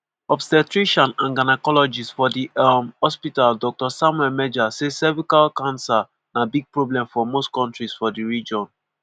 obstetrician and gynaecologist for di um hospital dr samuel meja say cervical cancer na big problem for most kontris for di region.